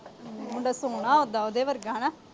ਮੁੰਡਾ ਸੋਹਣਾ ਉ ਉਦਾ ਉਹਦੇ ਵਰਗਾ।